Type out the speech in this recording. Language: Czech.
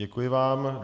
Děkuji vám.